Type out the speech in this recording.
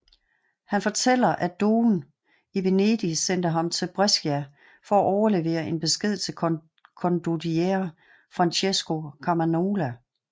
Han fortæller at dogen i Venedig sendte ham til Brescia for at overlevere en besked til condottiere Francesco Carmagnola